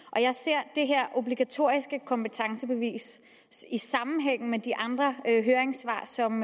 og jeg ser det her obligatoriske kompetencebevis i sammenhæng med de andre høringssvar som